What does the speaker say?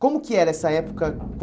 Como que era essa época?